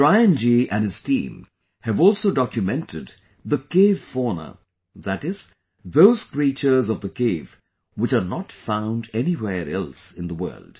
Brian Ji and his team have also documented the Cave Fauna ie those creatures of the cave, which are not found anywhere else in the world